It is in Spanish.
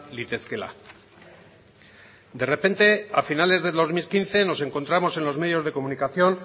litezkeela de repente a finales del dos mil quince nos encontramos en los medios de comunicación